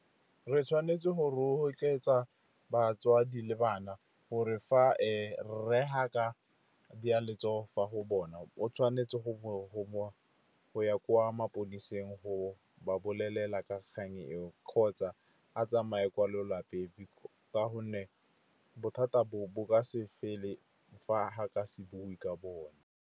Re tshwanetse go rotloetsa batswadi le bana gore fa rre ga ka beya letsogo fa go bona, o tshwanetse go ya kwa maphodiseng go ba bolelela ka kgang eo, kgotsa a tsamaye kwa lelapeng, ka gonne bothata bo bo ka se fele fa ka se bue ka bone.